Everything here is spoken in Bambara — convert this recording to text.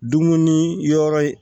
Dumuni yɔrɔ ye